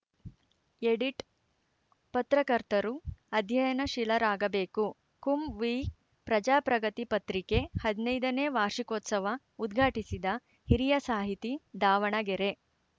edit ಪತ್ರಕರ್ತರು ಅಧ್ಯಯನಶೀಲರಾಗ ಬೇಕು ಕುಂವೀ ಪ್ರಜಾಪ್ರಗತಿ ಪತ್ರಿಕೆ ಹದಿನೈದನೇ ವಾರ್ಷಿಕೋತ್ಸವ ಉದ್ಘಾಟಿಸಿದ ಹಿರಿಯ ಸಾಹಿತಿ ದಾವಣಗೆರೆ